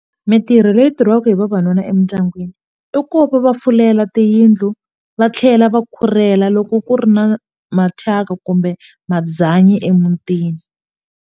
Mitirho leyi tirhaka hi vavanuna emindyangwini i ku va va fulela tiyindlu va tlhela va khurhela loko ku ri na mathyaka kumbe mabyanyi emutini.